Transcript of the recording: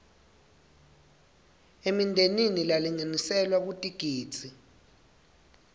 emindeni lalinganiselwa kutigidzi